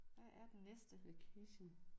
Der er den næste location